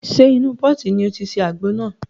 Ṣe inú pọ́ọ̀tì ni o ti ṣe àgbo náà?